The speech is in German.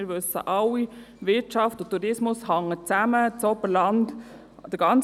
Wir wissen alle, dass die Wirtschaft und der Tourismus zusammenhängen.